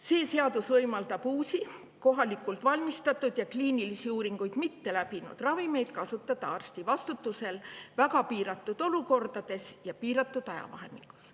See seadus võimaldab uusi, kohalikult valmistatud ja kliinilisi uuringuid mitteläbinud ravimeid kasutada arsti vastutusel väga piiratud olukordades ja piiratud ajavahemikus.